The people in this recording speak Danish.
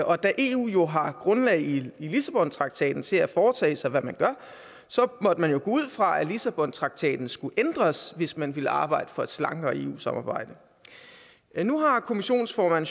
og da eu jo har grundlag i lissabontraktaten til at foretage sig hvad man gør så måtte man jo gå ud fra at lissabontraktaten skulle ændres hvis man ville arbejde for et slankere eu samarbejde nu har kommissionsformanden